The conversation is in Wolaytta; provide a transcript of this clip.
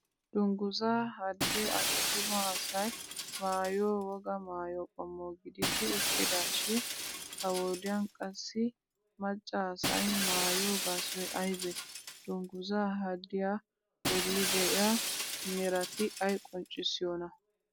Dungguzza hadee attuma asay maayiyo wogaa maayo qommo gididi uttidaashin ha wodiyan qassi maccaa asay maayiyo gaasoy aybee? Dungguzza hadiya bolli de'iya merati ay qonccissiyonaa?